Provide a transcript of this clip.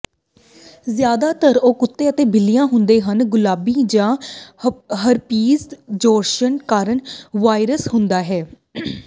ਜ਼ਿਆਦਾਤਰ ਉਹ ਕੁੱਤੇ ਅਤੇ ਬਿੱਲੀਆਂ ਹੁੰਦੇ ਹਨ ਗੁਲਾਬੀ ਜਾਂ ਹਰਪੀਜ਼ ਜ਼ੋਸਟਰ ਕਾਰਨ ਵਾਇਰਸ ਹੁੰਦਾ ਹੈ